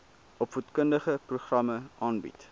opvoedkundige programme aanbied